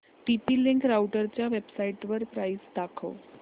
TP link राउटरच्या वेबसाइटवर price दाखव